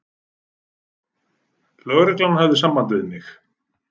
Lögreglan hafði samband við mig.